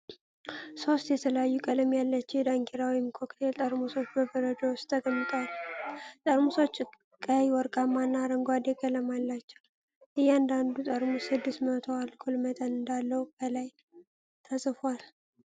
ሦስት የተለያዩ ቀለም ያላቸው የዳንኪራ ወይን ኮክቴል ጠርሙሶች በበረዶ ውስጥ ተቀምጠዋል። ጠርሙሶቹ ቀይ፣ ወርቃማ እና አረንጓዴ ቀለም አላቸው። እያንዳንዱ ጠርሙስ ስድስት በመቶ አልኮል መጠን እንዳለው ከላይ ተጽፎአል።